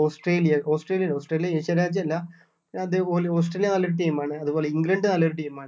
Australia Australia അല്ല Australia asian രാജ്യം അല്ല പിന്നെ അതേപോലെ ഓസ്ട്രേലിയ നല്ലൊരു team ആണ് അതുപോലെ ഇംഗ്ലണ്ട് നല്ലൊരു team